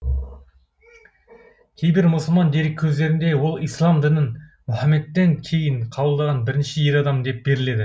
кейбір мұсылман дереккөздерінде ол ислам дінін мұхаммедтен кейін қабылдаған бірінші ер адам деп беріледі